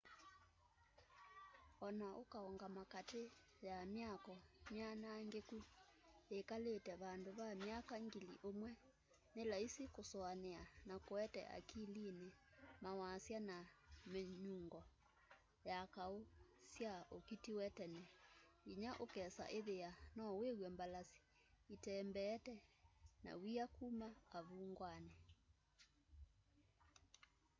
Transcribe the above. ona ũkaũngama katĩ ya mĩako mianangĩkũ yĩkalĩte vandũ va mĩaka ngili ũmwe nĩ laisi kũsũanĩa na kũete akilini mawasya na mĩnyũngo ya kaũ sya ũkĩtĩw'e tene ngĩnya ũkesa ĩthĩa no wĩw'e mbalasĩ ĩtembeete na wĩa kũma avũngwanĩ